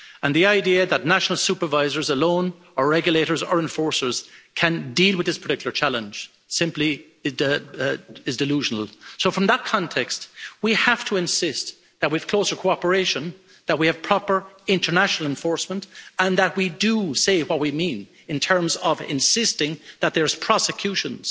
The idea that national supervisors alone, or regulators or enforcers, can deal with this particular challenge simply is delusional From that context, we have to insist that we have closer cooperation, that we have proper international enforcement and that we do say what we need in terms of insisting that there are prosecutions.